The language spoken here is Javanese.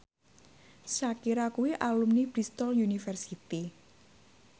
Shakira kuwi alumni Bristol university